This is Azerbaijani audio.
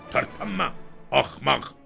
"Tərpənmə, axmaq!"